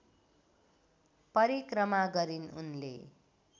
परिक्रमा गरिन् उनले